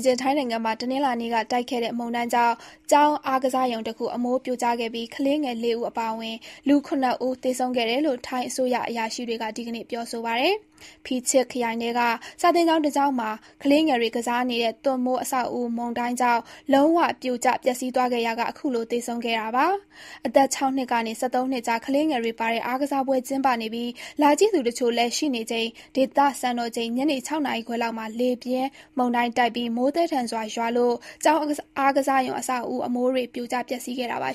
ချင်း ထိုင်းနိုင်ငံမှာ တနင်္လာနေ့က တိုက်ခဲ့တဲ့မုန်တိုင်းကြောင့် ကျောင်းအားကစားရုံတခု အမိုးပြိုကျခဲ့ပြီး ကလေးငယ် ၄ ဦး အပါအဝင် လူ ၇ ဦး သေဆုံးခဲ့တယ်လို့ ထိုင်းအစိုးရ အရာရှိတွေက ဒီကနေ့ ပြောဆိုပါတယ်။ Phichit (ဖီချစ်) ခရိုင်ထဲက စာသင်ကျောင်း တကျောင်းမှာ ကလေးငယ်တွေ ကစားနေတဲ့ သွပ်မိုး အဆောက်အဦး မုန်တိုင်းကြောင့် လုံး၀ ပြိုကျ ပျက်စီးသွားခဲ့ရာက ခုလို သေဆုံးခဲ့ရတာပါ။ အသက် ၆ နှစ်ကနေ ၁၃ နှစ်ကြား ကလေးငယ်တွေ ပါတဲ့ အားကစားပွဲ ကျင်းပနေပြီး လာကြည့်သူတချို့လည်း ရှိနေချိန် ဒေသစံတော်ချိန် ညနေ ၆ နာရီခွဲလောက်မှာ လေပြင်းမုန်တိုင်း တိုက်ပြီး မိုးသည်းသည်းထန်ထန် ရွာလို့ ကျောင်းအားကစားရုံ အဆောက်အဦး အမိုးတွေ ပြိုကျပျက်စီးခဲ့တာပါ